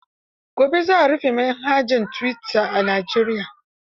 Gobe za a rufe manhajar tuwita a Najeriya.